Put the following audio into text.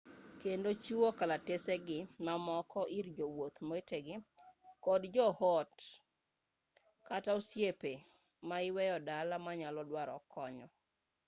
kendo chiwu kalatesegi mamoko ir jowuoth wetegi kod jo ot kata osiepe ma iweyo dala manyalo dwaro konyo